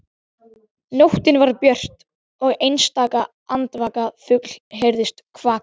Nóttin var björt og einstaka andvaka fugl heyrðist kvaka.